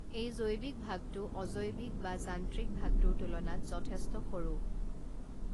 এই জৈৱিক ভাগটো অজৈৱিক বা যান্ত্ৰিক ভাগটোৰ তুলনাত যথেষ্ট সৰু